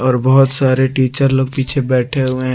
और बहुत सारे टीचर लोग पीछे बैठे हुए --